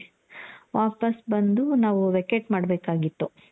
ವಾಪಾಸ್ ಬಂದು ನಾವು vacate ಮಾಡಬೇಕಾಗಿತ್ತು.